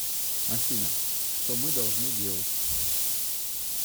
афина что мы должны делать